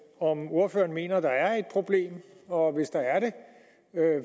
af om ordføreren mener der er et problem og hvis der er det